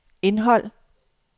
indhold